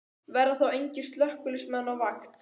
Verða þá engir slökkviliðsmenn á vakt?